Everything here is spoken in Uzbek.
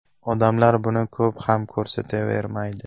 Odamlar buni ko‘p ham ko‘rsatavermaydi.